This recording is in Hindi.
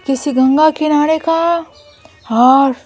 किसी गंगा किनारे का और--